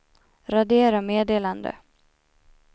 radera meddelande